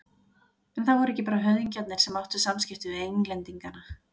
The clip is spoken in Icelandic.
En það voru ekki bara höfðingjarnir sem áttu samskipti við Englendinga.